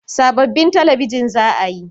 Sabobbin talabijin za a yi